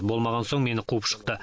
болмаған соң мені қуып шықты